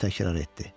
O təkrar etdi.